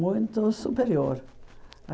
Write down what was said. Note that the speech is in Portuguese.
Muito superior.